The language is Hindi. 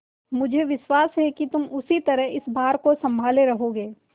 मुझे विश्वास है कि तुम उसी तरह इस भार को सँभाले रहोगे